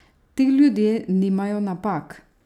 Ti ljudje nimajo napak!